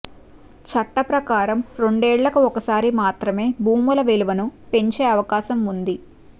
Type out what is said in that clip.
చట్ట ప్రకారం రెండేళ్లకు ఒకసారి మాత్రమే భూముల విలువను పెంచే అవకాశం ఉంది